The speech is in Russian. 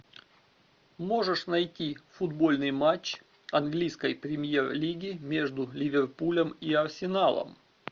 можешь найти футбольный матч английской премьер лиги между ливерпулем и арсеналом